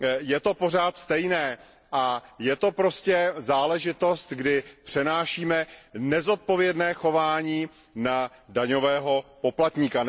Je to pořád stejné a je to prostě záležitost, kdy přenášíme nezodpovědné chování na daňového poplatníka.